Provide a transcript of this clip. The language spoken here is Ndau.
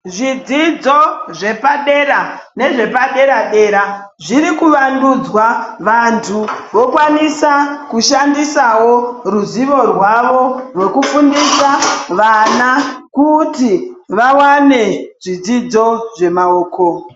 Zvidzidzo zvepadera nezvepa-dera dera zvirikuvandudzwa. Vantu vokwanisa kushandisawo ruzvivo rwavo rwekufundisa vana kuti vawane zvodzidzo zvemaoko.